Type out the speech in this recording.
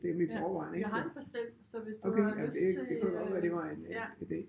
Ja jeg har en pastil så hvis til du har lyst til øh ja